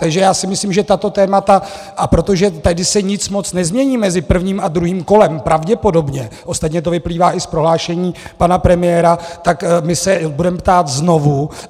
Takže já si myslím, že tato témata, a protože tady se nic moc nezmění mezi prvním a druhým kolem, pravděpodobně - ostatně to vyplývá i z prohlášení pana premiéra - tak my se budeme ptát znovu.